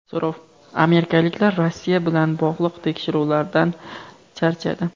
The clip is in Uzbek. So‘rov: amerikaliklar Rossiya bilan bog‘liq tekshiruvlardan charchadi.